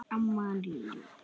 Það getur ekki verið, barn!